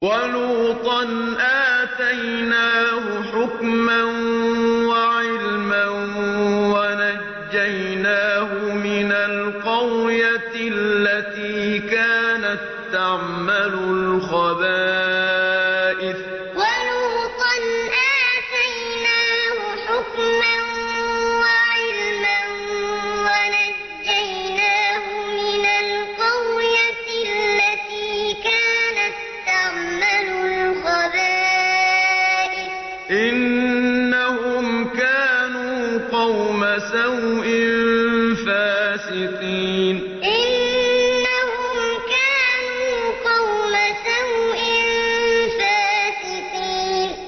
وَلُوطًا آتَيْنَاهُ حُكْمًا وَعِلْمًا وَنَجَّيْنَاهُ مِنَ الْقَرْيَةِ الَّتِي كَانَت تَّعْمَلُ الْخَبَائِثَ ۗ إِنَّهُمْ كَانُوا قَوْمَ سَوْءٍ فَاسِقِينَ وَلُوطًا آتَيْنَاهُ حُكْمًا وَعِلْمًا وَنَجَّيْنَاهُ مِنَ الْقَرْيَةِ الَّتِي كَانَت تَّعْمَلُ الْخَبَائِثَ ۗ إِنَّهُمْ كَانُوا قَوْمَ سَوْءٍ فَاسِقِينَ